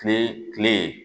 Kile kile